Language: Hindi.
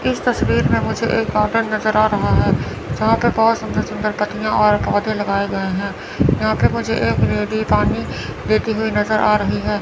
इस तस्वीर में मुझे एक गार्डन नज़र आ रहा है जहां पे बहोत सुंदर सुंदर पत्तियां और पौधे लगाए गए हैं यहां पे मुझे एक लेडी पानी देती हुई नज़र आ रही है।